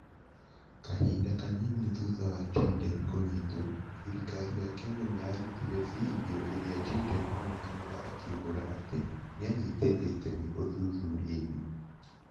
Kahinda kanini thutha wa Jayden kũnyitwo, thirikari ya Kenya nĩ yarutire bindiũ ĩrĩa Jayden onekaga akĩumbũra atĩ nĩ aanyitĩte itemi ũthuthuria-inĩ.